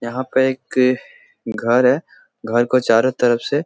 यहाँ पे एक घर है घर को चारों तरफ से --